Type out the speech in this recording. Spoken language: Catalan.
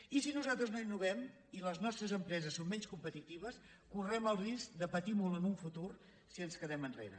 i si nos·altres no innovem i les nostres empreses són menys competitives correm el risc de patir molt en un futur si ens quedem enrere